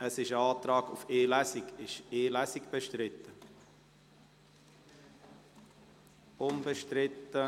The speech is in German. Es besteht ein Antrag auf die Durchführung von nur einer Lesung.